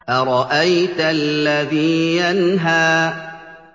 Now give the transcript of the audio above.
أَرَأَيْتَ الَّذِي يَنْهَىٰ